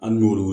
Hali n'olu